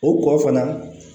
O kɔ fana